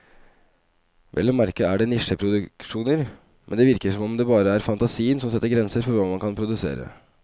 Vel å merke er det nisjeproduksjoner, men det virker som om det bare er fantasien som setter grenser for hva man kan produsere.